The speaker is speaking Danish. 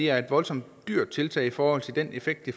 er et voldsomt dyrt tiltag i forhold til den effekt det